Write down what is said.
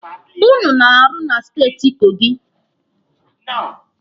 Ụnụ na-arụ na steeti Kogi.